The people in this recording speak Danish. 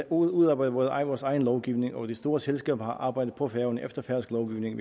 udarbejdet vores egen lovgivning og de store selskaber har arbejdet på færøerne efter færøsk lovgivning